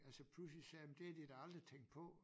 Altså pludselig sagde men det havde de da aldrig tænkt på